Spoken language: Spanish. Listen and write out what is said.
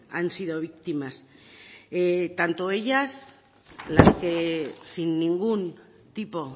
han sido víctimas tanto ellas las que sin ningún tipo